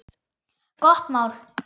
Gott mál.